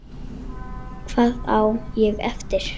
Hvað á ég eftir?